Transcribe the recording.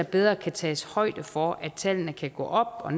bedre kan tages højde for at tallene kan gå op og